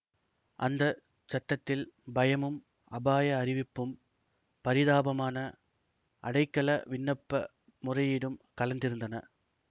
அந்த சத்தத்தில் பயமும் அபாய அறிவிப்பும் பரிதாபமான அடைக்கல விண்ணப்ப முறையீடும் கலந்திருந்தன